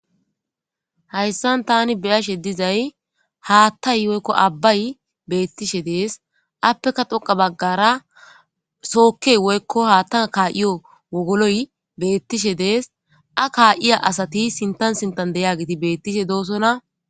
Hayssan taani be7ashe dizay haatay woyko abbay beetishe dizayssa affeka pude baggara sooke woyko wogoloy beetishe dees a kaa7iya asati sintan eqqidoosona.